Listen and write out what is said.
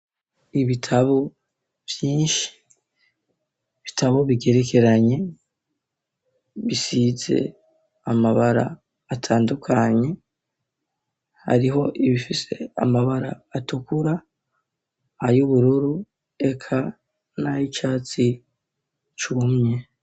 Ibitabo vyinshi ,bitabo bigerekeranye, bisize ,amabara atandukanye ,hariho ibifise amabara atukura ,ay'ubururu eka, nay'icatsi cumye.